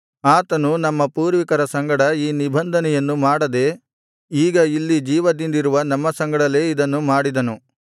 ಆತನು ನಮ್ಮ ಪೂರ್ವಿಕರ ಸಂಗಡ ಈ ನಿಬಂಧನೆಯನ್ನು ಮಾಡದೆ ಈಗ ಇಲ್ಲಿ ಜೀವದಿಂದಿರುವ ನಮ್ಮ ಸಂಗಡಲೇ ಇದನ್ನು ಮಾಡಿದನು